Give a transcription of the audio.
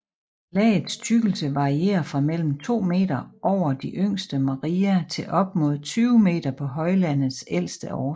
Lagets tykkelse varierer fra mellem 2 meter over de yngste maria til op mod 20 meter på højlandenes ældste overflader